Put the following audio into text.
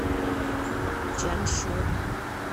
чаншу